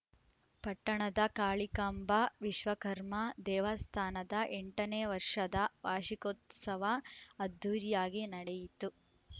ಪಟ್ಟಣದ ಕಾಳಿಕಾಂಬಾ ವಿಶ್ವಕರ್ಮ ದೇವಸ್ಥಾನದ ಎಂಟ ನೇ ವಷರ್‍ದ ವಾರ್ಷಿಕೋತ್ಸವ ಅದ್ದೂರಿಯಾಗಿ ನಡೆಯಿತು